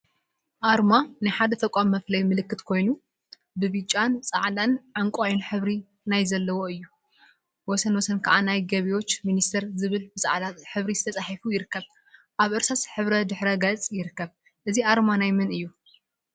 አርማ ናይ ሓደ ተቋም መፍለይ ምልክት ኮይኑ፤ ብብጫ፣ ፃዕዳን ዕንቋይን ሕብሪ ናይ ዘለዎ እዩ፡፡ ወሰን ወሰን ከዓ ናይ ገቢዎች ሚኒስቴር ዝብል ብፃዕዳ ሕብሪ ተፃሒፉ ይርከብ፡፡ አብ እርሳስ ሕብሪ ድሕረ ገፅ ይርከብ፡፡ እዚ አርማ ናይ መን እዩ?